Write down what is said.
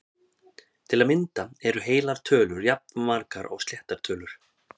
Til að mynda eru heilar tölur jafnmargar og sléttar tölur!